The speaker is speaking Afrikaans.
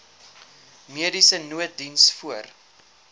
mediese nooddiens voor